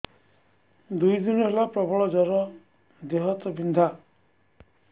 ଦୁଇ ଦିନ ହେଲା ପ୍ରବଳ ଜର ଦେହ ହାତ ବିନ୍ଧା